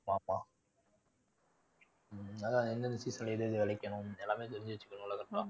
உம் அதுதான் எந்த விஷயத்துல எது எது விளைக்கணும். எல்லாமே தெரிஞ்சு வச்சுக்கணும்ல correct ஆ